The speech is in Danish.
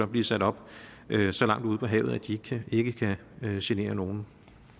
blive sat op så langt ude på havet at de ikke kan genere nogen